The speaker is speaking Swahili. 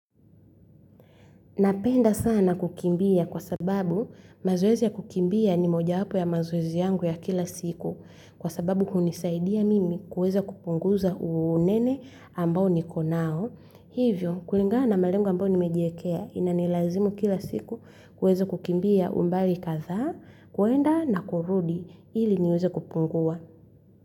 Napenda sana kukimbia kwa sababu mazoezi ya kukimbia ni moja wapo ya mazoezi yangu ya kila siku kwa sababu hunisaidia mimi kuweza kupunguza unene ambao niko nao. Hivyo kulingana na malengo ambayo nimejiwekea ina nilazimu kila siku kuweza kukimbia umbali kadhaa kuenda na kurudi ili niweze kupungua.